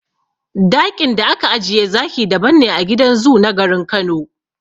Daƙin da aka ajiye zaki daban ne a gidan zoo na garin Kano.